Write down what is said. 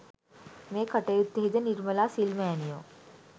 මේ කටයුත්තෙහිද නිර්මලා සිල් මෑණියෝ